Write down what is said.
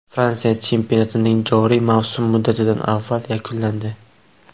Fransiya chempionatining joriy mavsum muddatidan avval yakunlandi .